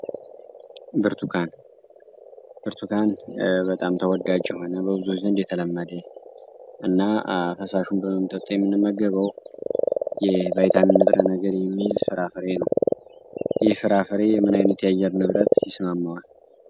ብርቱካን ብርቱካን በጣም ተወዳጅ ና ፈሳሽ ብርቱካን ብርቱካን በጣም ተወዳጅ የሆነ በብዙ ዘንድ የተለመደ የቫይታሚን ያለው ንብረት ፍራፍሬ ምን አይነት የአየር ንብረት ይስማሟዋል።